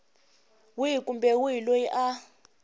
wihi kumbe wihi loyi a